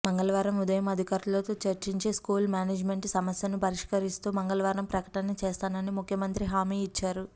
మంగళవారం ఉదయం అధికారులతో చర్చించి స్కూల్ మేనేజ్మెంట్ల సమస్యను పరిష్కరిస్తూ మంగళవారం ప్రకటన చేస్తానని ముఖ్యమంత్రి హామీ ఇచ్చారు